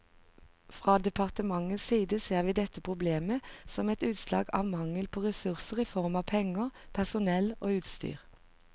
Fra departementets side ser vi dette problemet som et utslag av mangel på ressurser i form av penger, personell og utstyr.